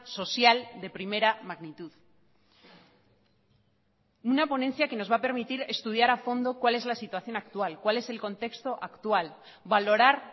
social de primera magnitud una ponencia que nos va a permitir estudiar a fondo cuál es la situación actual cuál es el contexto actual valorar